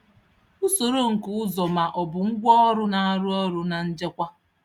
Usoro nke ụzọ ma ọ bụ ngwaọrụ na-arụ ọrụ na njikwa.